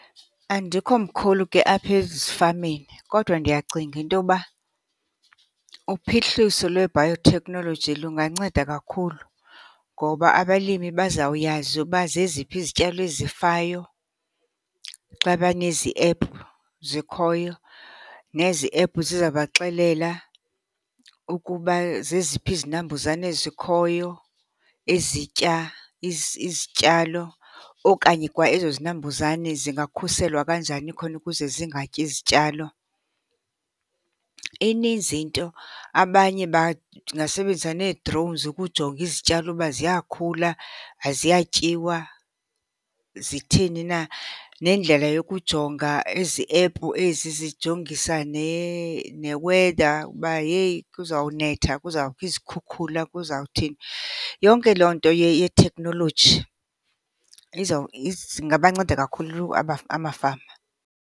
Andikho mkhulu ke apha ezifameni kodwa ndiyacinga into yoba uphuhliso lwe-biotechnology lunganceda kakhulu. Ngoba abalimi bazawuyazi uba zeziphi izityalo ezifayo xa banezi ephu zikhoyo, nezi ephu zizabaxelela ukuba zeziphi izinambuzane ezikhoyo ezitya izityalo okanye kwa ezo zinambuzane zingakhuselwa kanjani khona ukuze zingatyi zityalo. Ininzi into, abanye bangasebenzisa nee-drones ukujonga izityalo uba ziyakhula, ziyatyiwa, zitheni na. Nendlela yokujonga ezi app ezi zijongisa ne-weather uba heyi kuzawunetha, kuzawubakho izikhukhula, kuzawuthini. Yonke loo nto yetekhnoloji zingabanceda kakhulu amafama.